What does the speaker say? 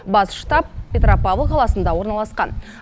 бас штаб петропавл қаласында орналасқан